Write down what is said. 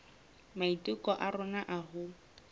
maiteko a rona a ho